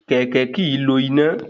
Kẹ̀kẹ́ kìí lò iná